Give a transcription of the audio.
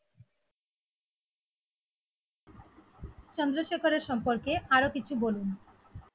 চন্দ্রশেখরের সম্পর্কে আরো কিছু বলুন?